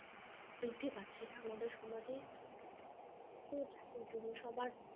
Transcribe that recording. বৃদ্ধি পাচ্ছে আমাদের সমাজে . জন্য সবার